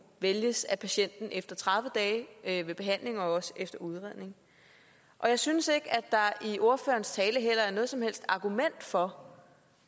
vælges af patienten efter tredive dage ved behandling og også efter udredning jeg synes ikke at der i ordførerens tale heller er noget som helst argument for